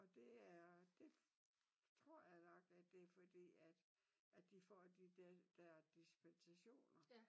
Og det er det tror jeg nok at det fordi at at de får de der der dispensationer